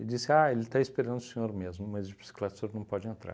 disse, ah, ele está esperando o senhor mesmo, mas de bicicleta o senhor não pode entrar.